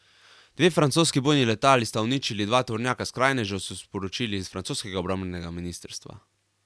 Dve francoski bojni letali sta uničili dva tovornjaka skrajnežev, so sporočili iz francoskega obrambnega ministrstva.